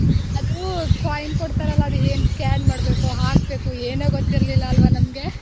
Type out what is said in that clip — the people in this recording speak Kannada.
ಅದು coin ಕೊಡ್ತರಲ್ಲ ಅದ್ ಏನ್ scan ಮಾಡ್ಬೇಕೊ ಹಾಕ್ಬೇಕೋ ಏನು ಗೊತ್ತಿರ್ಲಿಲ್ಲ ಅಲ್ವಾ ನಮ್ಗೆ .